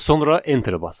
Və sonra enterə basırıq.